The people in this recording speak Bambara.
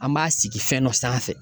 An b'a sigi fɛn dɔ sanfɛ.